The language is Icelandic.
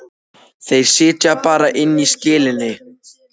Þeir sitja bara inni í skelinni.